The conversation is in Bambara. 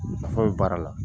So in fa baara la